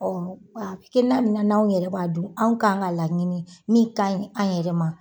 Ɔn be na ni anw yɛrɛ b'a dun anw kan ka laɲini min ka ɲi anw yɛrɛ ma.